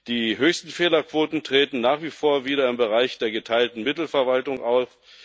Die höchsten Fehlerquoten treten nach wie vor wieder im Bereich der geteilten Mittelverwaltung auf.